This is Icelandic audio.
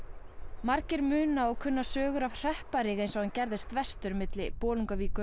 margir muna og kunna sögur af hrepparíg eins og hann gerðist verstur milli Bolungarvíkur og